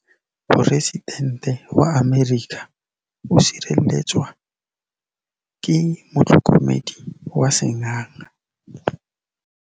Poresitêntê wa Amerika o sireletswa ke motlhokomedi wa sengaga.